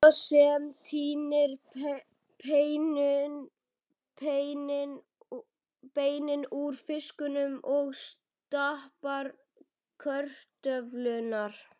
Mamma sem tínir beinin úr fiskinum og stappar kartöflurnar.